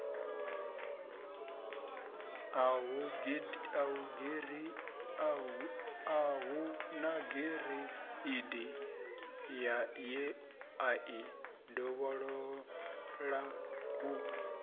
a hu nagireidi yeai dovhololau